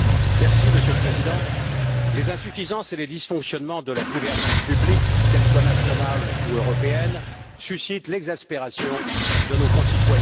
Monsieur le Président, les insuffisances et les dysfonctionnements de la gouvernance publique, qu'elle soit nationale ou européenne, suscitent l'exaspération de nos concitoyens.